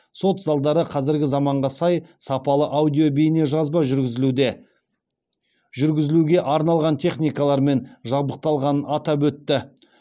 сот залдары қазіргі заманға сай сапалы аудио бейне жазба жүргізілуге арналған техникалармен жабдықталғанын атап өтті